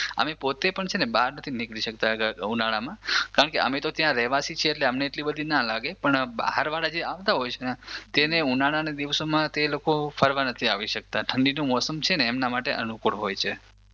અમે પોતે પણ છે ને બહાર નથી નીકળી સકતા ઉનાળામાં કારણકે અમે તો ત્યાંના રહેવાસી છીએ અમને તો એટલી બધી ના લાગે પણ બહાર વાળા જે આવતા હોય છે ને તેમને ઉનાળાના દિવસોમાં તે લોકો ફરવા નથી આવી સકતા ઠંડીનું મોસમ છે ને એમના માટે અનુકૂળ હોય છે